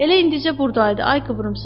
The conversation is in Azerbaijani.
Elə indicə burdaydı, ay qıvrımsaç.